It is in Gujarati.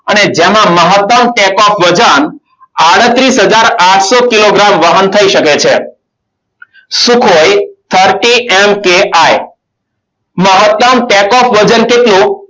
અને જેમાં મહત્તમ take off વજન આડત્રીસ હજાર આઠસો કિલોગ્રામ વહન થઈ શકે છે. sukhoi thirty mki મહત્તમ take off વજન કેટલું?